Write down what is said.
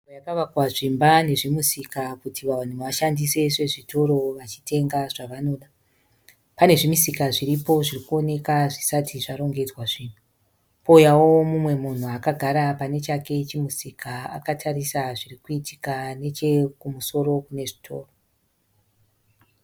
Nzvimbo yakavakwa zvimba nezvimusika kuti vanhu vashandise sezvitoro vachitenga zvavanoda. Pane zvimisika zviripo zviri kuonekwa zvisati zvarongedzwa zvinhu. Pouyawo mumwe munhu akagara pane chake chimusika akatarisa zviri kuitika nechokumusoro kune sitoo.